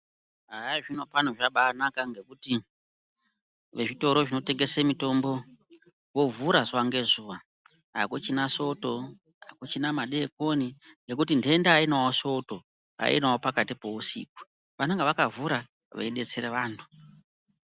Haa zvinopano zvakabanaka ngekuti vezvitoro zvinotengese mitombo vovhura zuva ngezuva. Hakuchina Soto, hakuchina madekoni ngekuti ndenda hainawo soto, hainawo pakati peusiku, vanenge vakavhura veidetsere vantu.